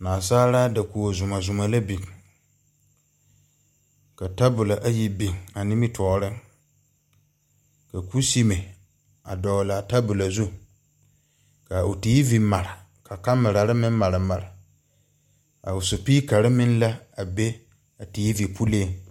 Naasaalaa dakogo zuma zuma la bing ka tabolo ayi bing a nimitoɔring ka kusime a doɔlaa tabolo zu ka ɔ tv mare ka camera meng mari mari a ɔ sipeekari meng la a be a tv puling.